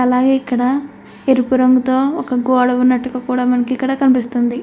అలాగే ఇక్కడ ఎరుపు రంగుతో ఒక గోడ కూడా ఉన్నట్టుగా మనకు ఇక్కడ కనిపిస్తుంది.